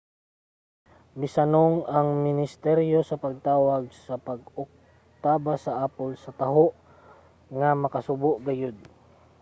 misanong ang ministeryo sa pagtawag sa pag-oktaba sa apple sa taho nga makasubo gayod.